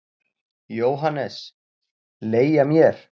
JÓHANNES: Leigja mér?